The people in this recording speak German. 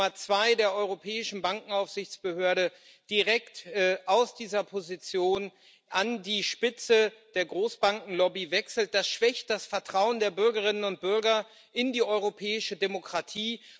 Wenn die Nummer zwei der Europäischen Bankenaufsichtsbehörde direkt aus dieser Position an die Spitze der Großbankenlobby wechselt, schwächt das das Vertrauen der Bürgerinnen und Bürger in die europäische Demokratie.